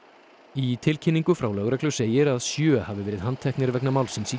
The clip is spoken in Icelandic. í tilkynningu frá lögreglu segir að sjö hafi verið handteknir vegna málsins í